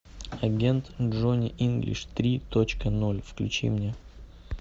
агент джонни инглиш три точка ноль включи мне